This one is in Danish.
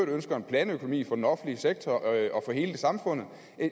ønsker en planøkonomi for den offentlig sektor og hele samfundet